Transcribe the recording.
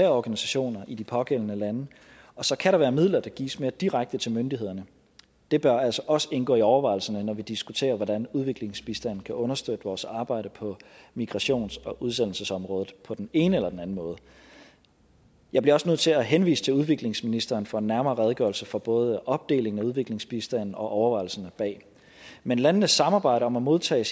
organisationer i de pågældende lande og så kan der være midler der gives mere direkte til myndighederne det bør altså også indgå i overvejelserne når vi diskuterer hvordan udviklingsbistanden kan understøtte vores arbejde på migrations og udsendelsesområdet på den ene eller den anden måde jeg bliver også nødt til at henvise til udviklingsministeren for en nærmere redegørelse for både opdelingen af udviklingsbistanden og overvejelserne bag men landenes samarbejde om at modtage